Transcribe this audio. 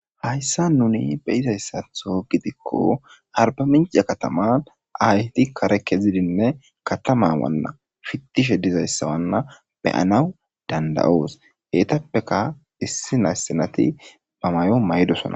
Hayisani nuni beizayisatho gidikko ariba mince kaatama ayeti kare kezidinne katama pitishshe dizayisa beyanas danidaidos enitappekka issina issinat ba mayuwa mayidosona